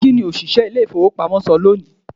kiní oṣiṣẹ ilé ìfíwepámọ ṣe loní?